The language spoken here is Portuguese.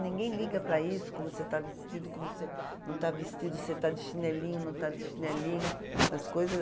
Ninguém liga para isso, como você está vestido, como você não está vestido, se você está de chinelinho, não está de chinelinho, essas coisa.